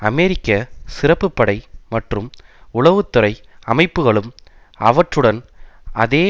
அமெரிக்க சிறப்பு படை மற்றும் உளவு துறை அமைப்புகளும் அவற்றுடன் அதே